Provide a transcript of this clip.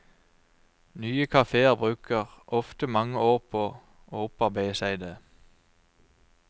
Nye kaféer bruker ofte mange år på å opparbeide seg det.